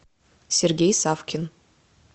сергей савкин